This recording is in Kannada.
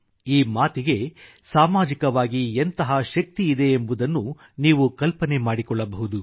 ಈ ಮಾತಿಗೆ ಸಾಮಾಜಿಕವಾಗಿ ಎಂತಹ ಶಕ್ತಿಯಿದೆ ಎಂಬುದನ್ನು ನೀವು ಕಲ್ಪನೆ ಮಾಡಿಕೊಳ್ಳಬಹುದು